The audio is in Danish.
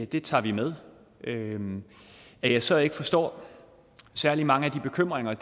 det tager vi med at jeg så ikke forstår særlig mange af de bekymringer